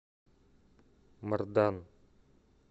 мардан